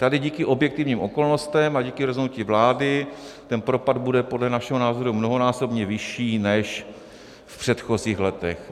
Tady díky objektivním okolnostem a díky rozhodnutí vlády ten propad bude podle našeho názoru mnohonásobně vyšší než v předchozích letech.